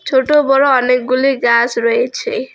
ছোট বড়ো অনেকগুলি গাছ রয়েছে।